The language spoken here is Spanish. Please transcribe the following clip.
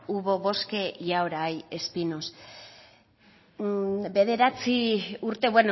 hubo bosque y ahora hay espinos bederatzi urte